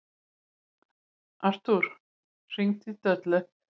Artúr, hringdu í Döllu.